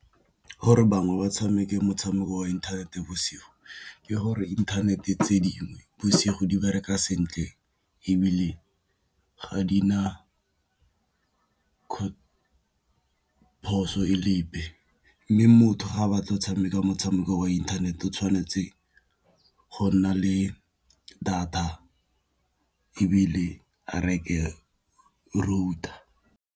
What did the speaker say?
Gore bangwe ba tshameke motshameko wa inthanete bosigo ke gore inthanete tse dingwe bosigo di bareka sentle, ebile ga di na poso e le epe. Mme motho ga a batla go tshameka motshameko wa inthanete o tshwanetse go nna le data ebile a reke router.